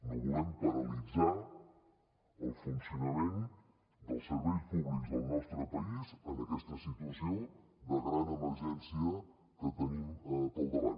no volem paralitzar el funcionament dels serveis públics del nostre país en aquesta situació de gran emergència que tenim pel davant